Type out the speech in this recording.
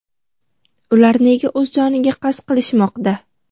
Ular nega o‘z joniga qasd qilishmoqda?.